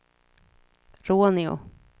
Råneå